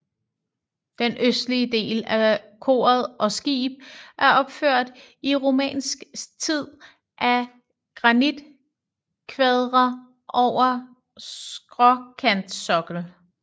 Den østlige del af koret og skib er opført i romansk tid af granitkvadre over skråkantsokkel